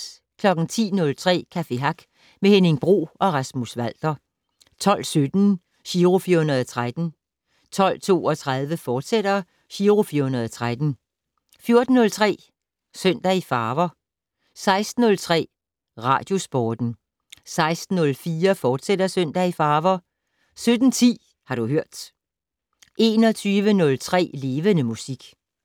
10:03: Café Hack med Henning Bro og Rasmus Walter 12:17: Giro 413 12:32: Giro 413, fortsat 14:03: Søndag i farver 16:03: Radiosporten 16:04: Søndag i farver, fortsat 17:10: Har du hørt 21:03: Levende Musik